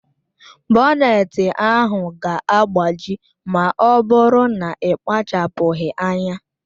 Boneti ahụ ga-agbaji ma ọ bụrụ na ị kpachapụghị anya